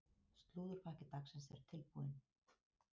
Slúðurpakki dagsins er tilbúinn.